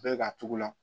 Bɛɛ k'a togo la